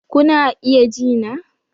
Kuna iya ji na?